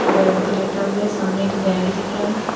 Bed पे लेटा हुआ है सामने एक बैग दिख रहा है।